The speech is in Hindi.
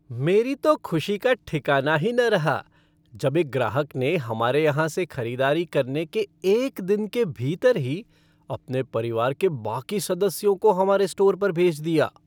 मेरी तो ख़ुशी का ठिकाना ही न रहा जब एक ग्राहक ने हमारे यहाँ से ख़रीदारी करने के एक दिन के भीतर ही अपने परिवार के बाकी सदस्यों को हमारे स्टोर पर भेज दिया।